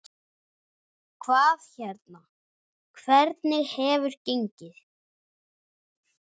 Hvað hérna, hvernig hefur gengið?